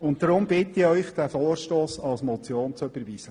Deshalb bitte ich Sie, den Vorstoss als Motion zu überweisen.